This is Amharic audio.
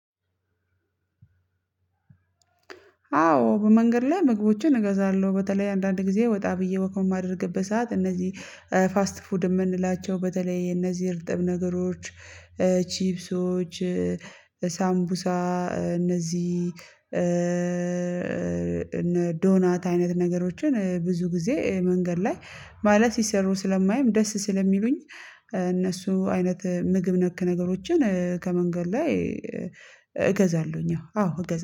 አዎ በመንገድ ላይ ምግቦችን እገዛለሁ በተለይ አንዳንድ ጊዜ ወጣ ብዬ ወክ በማደርግበት ሰዓት እነዚህ ፋስት ፉድ የምንላቸው በተለይ የነዚህ እርጥብ ነገሮች ቺፕሶች ሳምቡሳ እነዚህ ዶናት አይነት ነገሮችን ብዙ ጊዜ መንገድ ላይ ማለት ሲሰሩ ስለማይም ደስ ስለሚሉኝ እነሱ አይነት ምግብ ነክ ነገሮችን ከመንገድ ላይ እገዛለሁኝ አዎ እገዛለሁ